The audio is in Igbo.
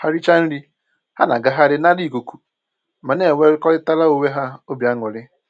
Ha richa nri, ha na-agagharị nara ikuku ma na-enwekọrịtara onwe ha obi aṅụrị